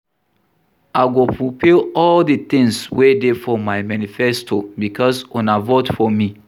I go fulfill all the things wey dey for my manifesto because una vote for me